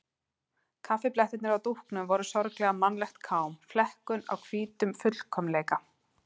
Kaffiblettirnir á dúknum voru sorglega mannlegt kám, flekkun á hvítum fullkomleika.